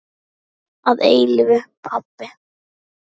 Þinn að eilífu, pabbi.